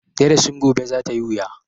Darasin gobe za ta yi wuya.